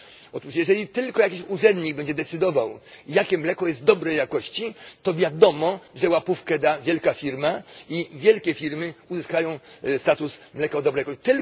Otóż jeżeli tylko jakiś urzędnik będzie decydował, jakie mleko jest dobrej jakości, to wiadomo, że łapówkę da wielka firma i wielkie firmy uzyskają status mleka dobrej jakości.